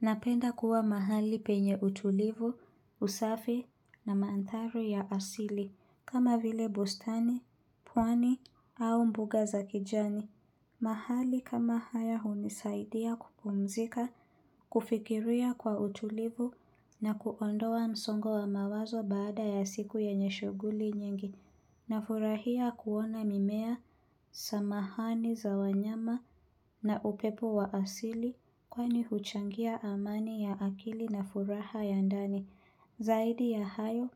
Napenda kuwa mahali penye utulivu, usafi na mandhari ya asili kama vile bustani, pwani au mbuga za kijani. Mahali kama haya hunisaidia kupumzika, kufikiria kwa utulivu na kuondoa msongo wa mawazo baada ya siku yenye shughuli nyingi. Nafurahia kuona mimea, samahani za wanyama na upepo wa asili kwani huchangia amani ya akili na furaha ya ndani. Zaidi ya hayo,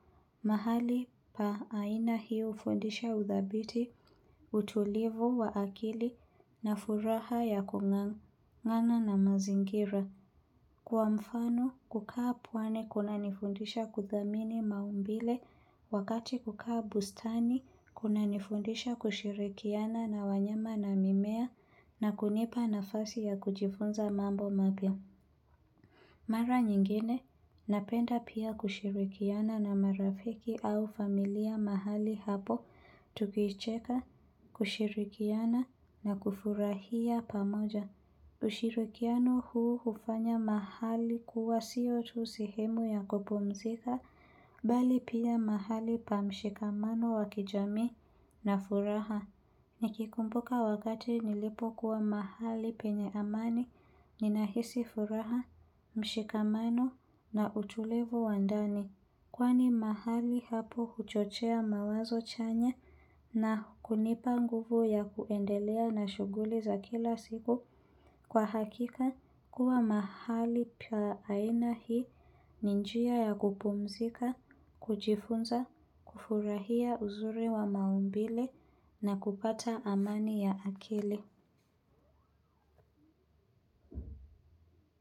mahali pa aina hii hufundisha uthabiti, utulivu wa akili na furaha ya kungangana na mazingira. Kwa mfano kukaa pwani kunanifundisha kuthamini maumbile wakati kukaa bustani kunanifundisha kushirikiana na wanyama na mimea na kunipa nafasi ya kujifunza mambo mapia. Mara nyingine napenda pia kushirikiana na marafiki au familia mahali hapo tukicheka kushirikiana na kufurahia pamoja. Ushirikiano huu hufanya mahali kuwa siyo tu sehemu ya kupumzika, bali pia mahali pa mshikamano wa kijami na furaha. Nikikumpuka wakati nilipokuwa mahali penye amani, ninahisi furaha, mshikamano na utulivu wa ndani. Kwani mahali hapo huchochea mawazo chanya na kunipa nguvu ya kuendelea na shuguli za kila siku kwa hakika kuwa mahali pa aina hii ni njia ya kupumzika, kujifunza, kufurahia uzuri wa maumbile na kupata amani ya akili.